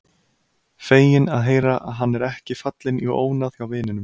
Feginn að heyra að hann er ekki fallinn í ónáð hjá vininum.